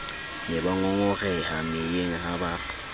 ne bangongoreha meyeng ha ba